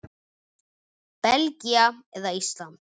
Belgía eða Ísland?